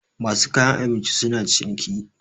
masu kayan abinci suna ciniki